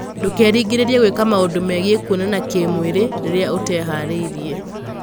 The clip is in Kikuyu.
Ndũkerĩgĩrĩrie gwĩka maũndũ megiĩ kuonana kĩmwĩrĩ rĩrĩa ũtĩhaarĩirie.